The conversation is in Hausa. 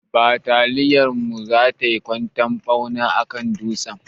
Bataliyar mu za tai kwantan ɓauna akan dutsen.